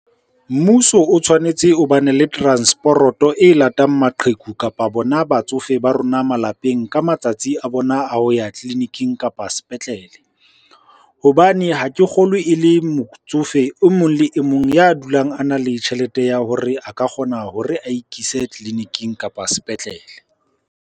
Mmuso o tshwanetse o bane le transporoto e latang maqheku, kapa bona batsofe ba rona malapeng ka matsatsi a bona a ho ya tleliniking kapa sepetlele. Hobane ha ke kgolwe e le motsofe o mong le e mong ya dulang a na le tjhelete ya hore a ka kgona hore a ikise tleliniking, kapa sepetlele.